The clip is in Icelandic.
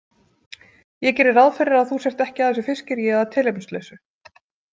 Ég geri ráð fyrir að þú sért ekki að þessu fiskiríi að tilefnislausu.